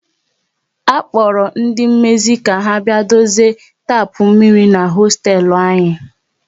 A kpora ndị mmezi ka ha bịa dozie tapu mmiri n'hosteelu anyi